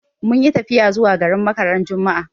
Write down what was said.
Mun yi tafiya zuwa garin Makka ran juma'a